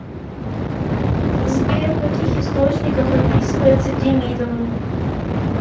сбер в каких источниках описывается демидовы